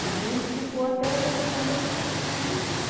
Teve um que ficou até o mês de maio e desistiu.